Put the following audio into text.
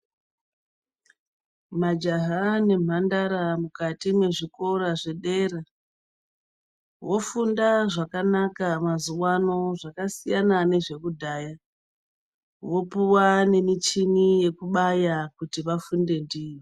Majaha nemhandara mukati mezvikora zvedera vofunda zvakanaka mazuwano zvakasiyana nezvekudhaya, vopuwa nemichini yekunaya kuti vafunde ndiyo.